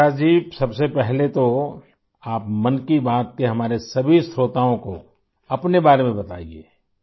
پرکاش جی، سب سے پہلے تو آپ 'من کی بات' کے ہمارے سبھی سامعین کو اپنے بارے میں بتائیے